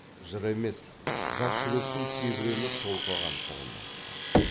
жыр емес жас жүректің тебіреніп толқыған сырын айтты